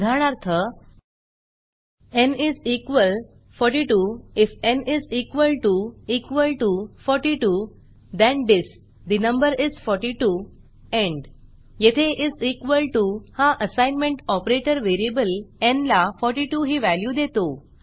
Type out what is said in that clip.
उदाहरणार्थ n is equal 42 if n is equal to equal to 42 then disp the number is 42 and येथे is equal to हा assignment operator variable n ला 42 ही value देतो